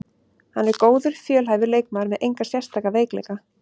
Hann er góður, fjölhæfur leikmaður með enga sérstaka veikleika.